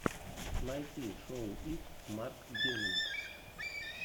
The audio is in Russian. найти шоу икс марк геминг